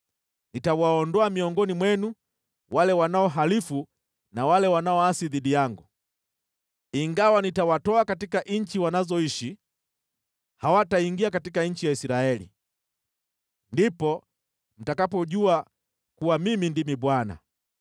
Nitawaondoa miongoni mwenu wale wanaohalifu na wale wanaoasi dhidi yangu. Ingawa nitawatoa katika nchi wanazoishi, hawataingia katika nchi ya Israeli. Ndipo mtakapojua kuwa Mimi ndimi Bwana .